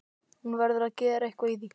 Hún verður að gera eitthvað í því.